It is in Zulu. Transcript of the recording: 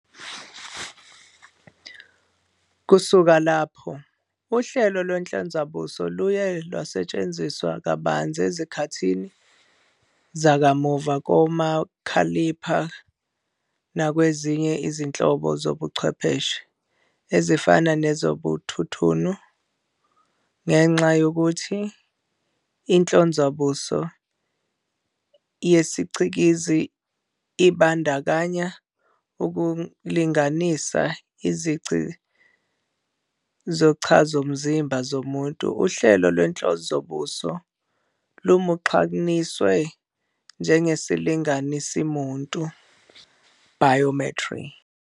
Kusuka lapho, uhlelo lwenhlonzabuso luye lwasetshenziswa kabanzi ezikhathini zakamuva komakhalipha nakwezinye izinhlobo zobuchwepheshe, ezifana nezobuthununu. Ngenxa yokuthi inhlonzabuso yesicikizi ibandakanya ukulinganisa izici zochazomzimba zomuntu, uhlelo lwenhlonzabuso lumunxaniswa njengesilinganisimuntu, "biometry".